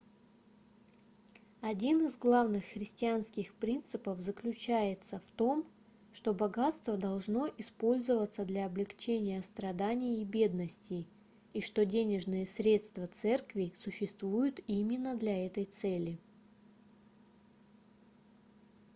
один из главных христианских принципов заключается в том что богатство должно использоваться для облегчения страданий и бедности и что денежные средства церкви существуют именно для этой цели